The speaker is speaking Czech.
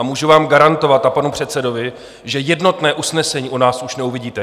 A můžu vám garantovat a panu předsedovi, že jednotné usnesení u nás už neuvidíte.